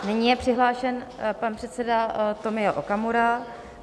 Nyní je přihlášen pan předseda Tomio Okamura.